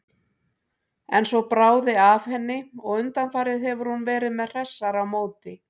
En svo bráði af henni og undanfarið hefur hún verið með hressara móti.